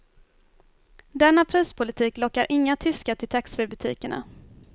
Denna prispolitik lockar inga tyskar till taxfreebutikerna.